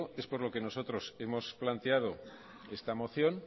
es por lo que nosotros hemos planteado esta moción